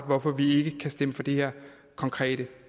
hvorfor vi ikke kan stemme for det her konkrete